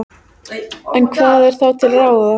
En hvað er þá til ráða?